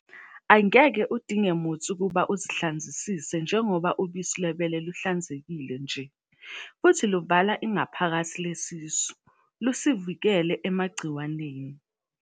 Angeke udinge muthi ukuthi usihlanzisise njengoba ubusi lwebele luhlanzekile nje, futhi luvala ingaphakathi lesisu, lusivikele emagciwaneni.